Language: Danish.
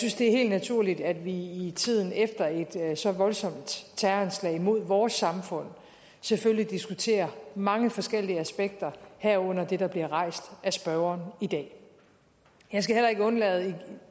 det er helt naturligt at vi i tiden efter et så voldsomt terroranslag mod vores samfund selvfølgelig diskuterer mange forskellige aspekter herunder det der bliver rejst af spørgeren i dag jeg skal heller ikke undlade